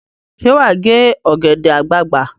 Ṣé wà á gé ọ̀gẹ̀dẹ̀ àgbagbà?